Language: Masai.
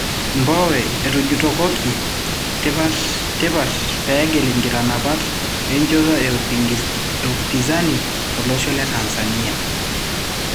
Mbowe etujutokoki tipat pegil nkitanapat enchoto e Upinzani tolosho le Tanzania?